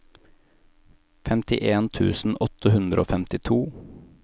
femtien tusen åtte hundre og femtito